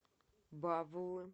бавлы